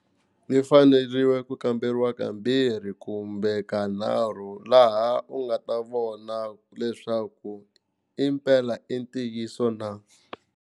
Yi faneriwe ku kamberiwa kambirhi kumbe ka nharhu laha u nga ta vona leswaku impela i ntiyiso na.